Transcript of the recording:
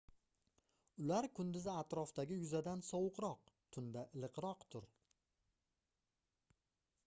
ular kunduzi atrofdagi yuzadan sovuqroq tunda iliqroqdir